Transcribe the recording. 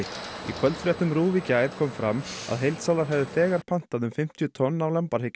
í kvöldfréttum RÚV í gær kom fram að heildsalar hefðu þegar pantað um fimmtíu tonn af